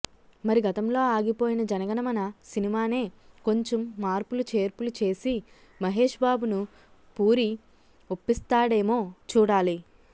మరి గతంలో ఆగిపోయిన జనగణమన సినిమానే కొంచెం మార్పులు చేర్పులు చేసి మహేష్ బాబును పూరి ఒప్పిస్తాడేమో చూడాలి